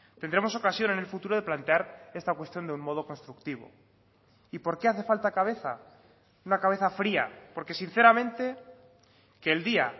tendremos ocasión en el futuro de plantear esta cuestión de un modo constructivo y por qué hace falta cabeza una cabeza fría porque sinceramente que el día